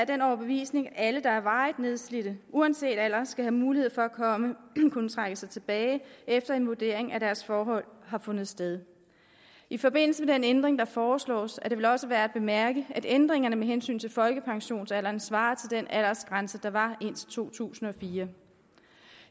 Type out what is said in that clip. den overbevisning at alle der er varigt nedslidte uanset alder skal have mulighed for at kunne trække sig tilbage efter at en vurdering af deres forhold har fundet sted i forbindelse med den ændring der foreslås er det vel også værd at bemærke at ændringerne med hensyn til folkepensionsalderen svarer til den aldersgrænse der var indtil to tusind og fire